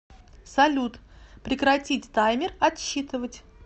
салют прекратить таймер отсчитывать